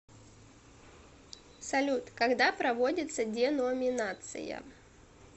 салют когда проводится деноминация